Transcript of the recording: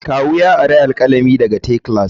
Kawu ya ari alkalami daga te class.